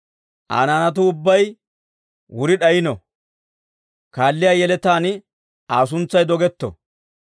Aa naanatuu ubbay wuri d'ayino; kaalliyaa yeletaan Aa suntsay dogetto.